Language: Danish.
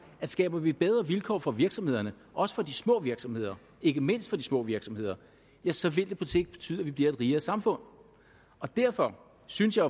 at skaber vi bedre vilkår for virksomhederne også for de små virksomheder ikke mindst for de små virksomheder så vil det på sigt betyde at vi bliver et rigere samfund derfor synes jeg